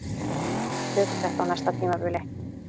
Við tökum þetta á næsta tímabili